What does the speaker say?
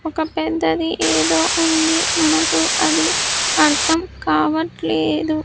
ఒక పెద్దది ఏదో ఉంది మనకు అది అర్థం కావట్లేదు.